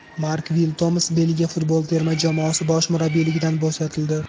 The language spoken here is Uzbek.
Mark Vilmots Belgiya futbol terma jamoasi bosh murabbiyligidan bo‘shatildi.